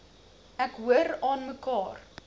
ek hoor aanmekaar